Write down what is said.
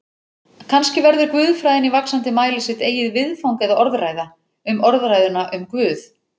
Kannski verður guðfræðin í vaxandi mæli sitt eigið viðfang eða orðræða um orðræðuna um Guð.